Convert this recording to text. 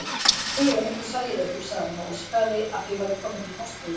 Guð, ef einhver sæi þau, hugsaði hún og óskaði að þau væru komin til Ástralíu.